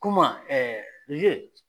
Kuma